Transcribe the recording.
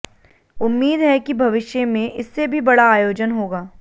उम्मीद है कि भविष्य में इससे भी बड़ा आयोजन होगा